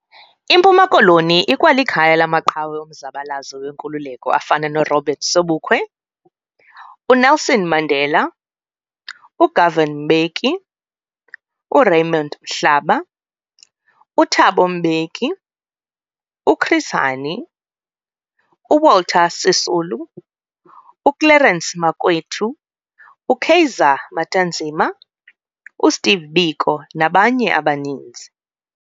IMpuma Koloni ikwalikhaya lamaqhawe omzabalazo wenkululeko afana no Robert Sobukwe, uNelson Mandela, uGovan Mbeki, uRaymond Mhlaba, uThabo Mbeki, uChris Hani, uWalter Sisulu, uClerence Makwethu, uKaiser Matanzima, uSteve Biko nabanye abaninzi.